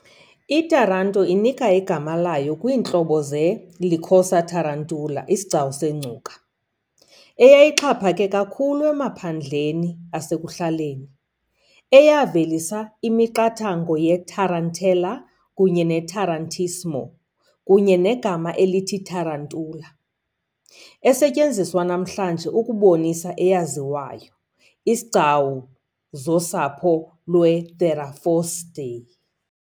I-Taranto inika igama layo kwiintlobo ze- "Lycosa tarantula", isigcawu sengcuka, eyayixhaphake kakhulu emaphandleni asekuhlaleni, eyavelisa imiqathango ye-tarantella kunye ne-tarantismo, kunye negama elithi tarantula, esetyenziswa namhlanje ukubonisa eyaziwayo. izigcawu zosapho lweTheraphosidae .